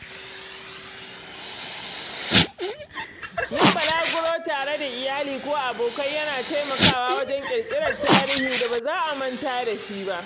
Yin balaguro tare da iyali ko abokai yana taimakawa wajen ƙirƙirar tarihi da ba za a manta da shi ba.